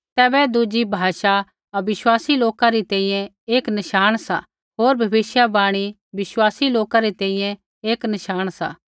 तैबै दुज़ी भाषा अविश्वासी लोका री तैंईंयैं एक नशाण सा होर भविष्यवाणी विश्वासी लोका री तैंईंयैं एक नशाण सा